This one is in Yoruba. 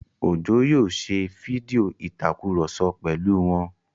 Òjó yóò ṣe fídíò ìtakùrọ̀sọ pẹ̀lú wọn